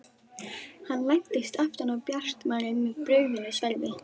Hann læddist aftan að Bjartmari með brugðnu sverði.